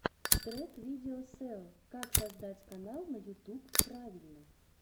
трек видео сео как создать канал на ютуб правильно